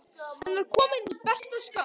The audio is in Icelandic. Hann var kominn í besta skap.